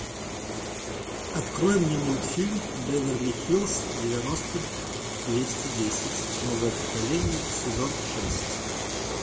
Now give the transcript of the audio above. открой мне мультфильм беверли хиллз девяносто двести десять новое поколение сезон шесть